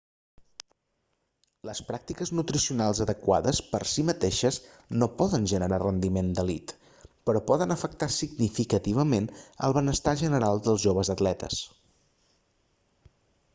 les pràctiques nutricionals adequades per si mateixes no poden generar rendiment d'elit però poden afectar significativament el benestar general dels joves atletes